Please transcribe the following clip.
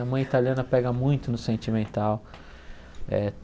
A mãe italiana pega muito no sentimental.